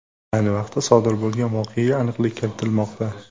Ayni vaqtda, sodir bo‘lgan voqeaga aniqlik kiritilmoqda.